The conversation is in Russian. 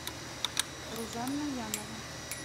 рузанна янова